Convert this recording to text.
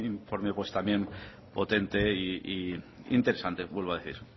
informe potente e interesante vuelvo a decir